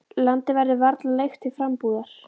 Landið verður varla leigt til frambúðar.